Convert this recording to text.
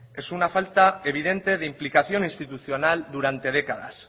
es una falta evidente de implicación institucional durante décadas